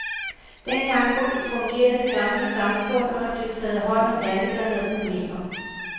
Dengang fungerede det gamle samfund, og der blev taget hånd om alle, der havde problemer.